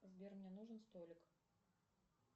сбер мне нужен столик